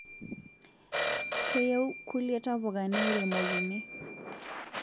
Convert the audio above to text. Keyieu kulie tapuka neiromokini